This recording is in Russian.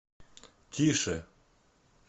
тише